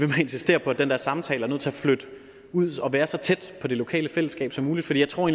insistere på at den der samtale er nødt til at flytte ud og være så tæt på det lokale fællesskab som muligt for jeg tror